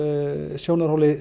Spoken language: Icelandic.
sjónarhorni